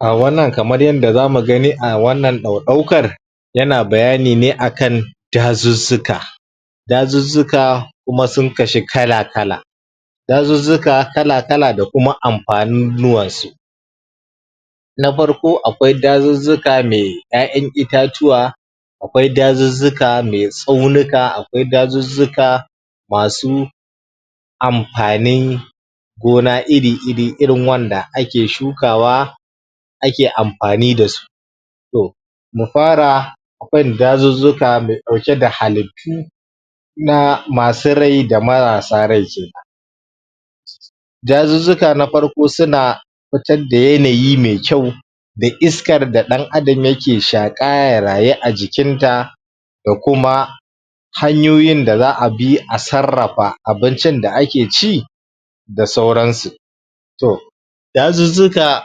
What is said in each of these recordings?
a wannan kamar yanda zamu gani a wannan ɗauɗaukar yana bayani ne akan dazuzzuka dazuzzuka kuma sun kashi kala kala dazuzzuka kala kala da kuma ampanunuwansu na parko akwai dazuzzuka mai ƴaƴan itatuwa akwai dazuzzuka mai tsaunuka akwai dazuzzuka masu ampani gona iri iri irin wanda ake shukawa ake ampani dasu to mu fara akwai dazuzzuka mai ɗauke da halittu na masu rai da marasa rai kenan? dazuzzuka na parko suna pitar da yanayi mai kyau da iskar da ɗan adam yake shaƙa ya rayu a jikinta da kuma hanyoyin da za'a bi a sarrafa abincin da ake ci da sauransu toh dazuzzuka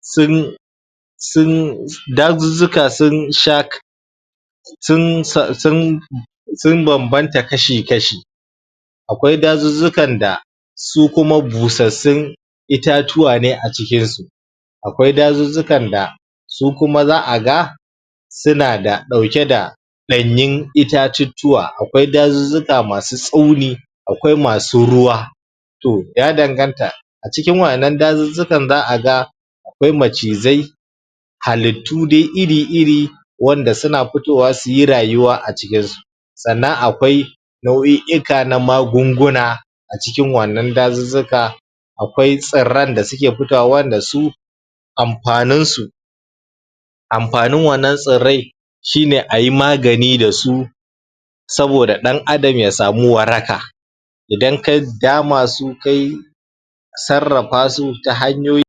sun sun dazuzzuka sun sha sun sa sun sun bambamta kashi kashi akwai dazuzzukan da su kuma busassun itatuwa ne a cikinsu akwai dazuzzukan da su kuma za'a ga suna da ɗauke da ɗanyun itatuttuwa akwai dazuka masu tsauni akwai masu ruwa to ya danganta a cikin wa'innan dazuzzukaan za'a ga akwai macizai halittu dai iri iri wanda suna putowa suyi rayuwa a cikinsu sannan akwai nau'i'ika na magunguna a cikin wa'annan dazuzzuka akwai tsirran da suke pitowa wanda su ampaninsu ampanin wannan tsirrai shine ayi magani dasu saboda ɗan adam ya samu waraka idan ka dama su kayi sarrapa su ta hanyoyi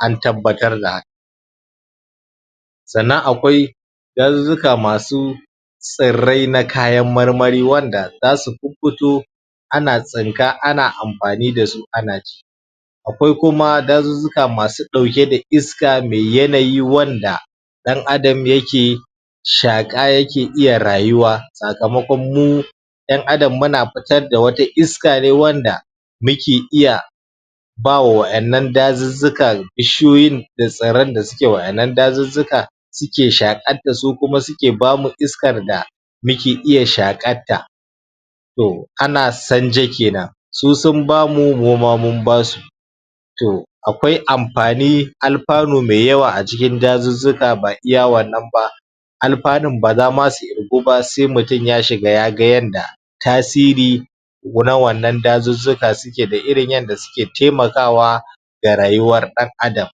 an tabbatar da haka sannan akwai dazuzzuka masu tsirrai na kayan marmari wanda zasu pupputo ana tsinka ana ampani dasu ana ci akwai kuma dazuzzuka masu ɗauke da iska mai yanayi wanda ɗan adam yake shaƙa yake iya rayuwa sakamakon mu ƴan adam muna pitar da wata iska ne wanda muke iya ba wa wa'ennan dazuzzuka bishiyoyin da tsirran da suke wa'ennan dazuzzuka suke shaƙar ta su kuma suke bamu iskar da muke iya shaƙatta to ana sanje kenan su sun bamu mu ma mun basu to akwai ampani alpanu mai yawa a cikin dazuzzuka ba iya wannan ba alpanun ba za ma su irgu ba sai mutun ya shiga ya ga yanda tasiri na wannan dazuzzuka suke da irin yanda suke taimakawa ga rayuwar ɗan adam